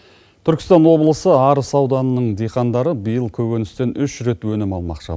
түркістан облысы арыс ауданының дихандары биыл көкөністен үш рет өнім алмақшы